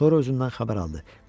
Sonra özündən xəbər aldı.